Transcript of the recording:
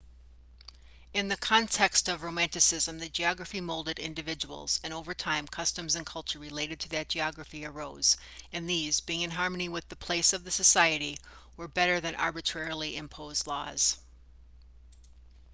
in the context of romanticism the geography molded individuals and over time customs and culture related to that geography arose and these being in harmony with the place of the society were better than arbitrarily imposed laws